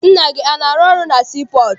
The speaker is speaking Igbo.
Nna gị ana arụ na sii pọọtụ?